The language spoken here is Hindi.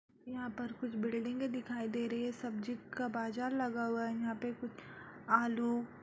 यहाँ पर कुछ बिल्डिंगे दिखाई दे रही हैं सब्जी का बाजार लगा हुआ है | यहाँ पे कुछ आलू --